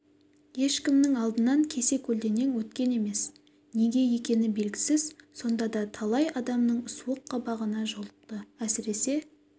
ешкімнің алдынан кесе-көлденең өткен емес неге екені белгісіз сонда да талай адамның суық қабағына жолықты әсіресе